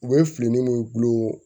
U bɛ fili ni min kulo